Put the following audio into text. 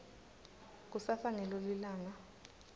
kusasa ngilo lilanga